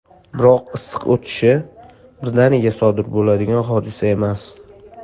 Biroq, issiq o‘tishi birdaniga sodir bo‘ladigan hodisa emas.